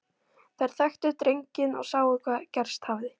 Þær þekktu drenginn og sáu hvað gerst hafði.